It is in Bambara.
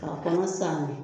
K'a kɔnɔ saani